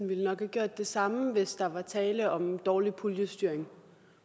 ville have gjort det samme hvis der er tale om dårlig puljestyring